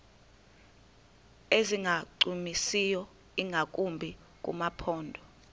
ezingancumisiyo ingakumbi kumaphondo